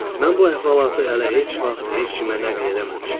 Mən bu əhvalatı hələ heç vaxt heç kimə nəql eləməmişəm.